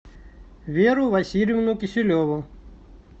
веру васильевну киселеву